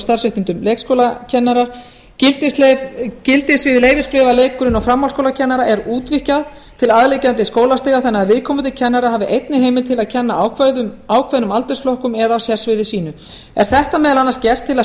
starfsréttindum leikskólakennara gildissvið leyfisbréfa leikskóla og framhaldsskólakennara er útvíkkað til að liggjandi skólastiga þannig að viðkomandi kennarar hafi einnig heimild til að kenna ákveðnum aldursflokkum á sérsviði sínu er þetta meðal annars gert til að stuðla